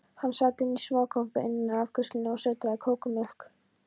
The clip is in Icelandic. Hann sat inní smákompu innaf afgreiðslunni og sötraði kakómjólk.